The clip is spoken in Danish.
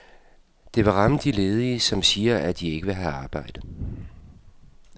Det vil ramme de ledige, som siger de, at ikke vil have et arbejde.